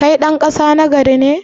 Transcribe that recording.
Kai ɗan ƙasa nagari ne?